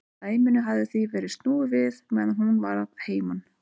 Dæminu hafði því verið snúið við meðan hún var að heiman.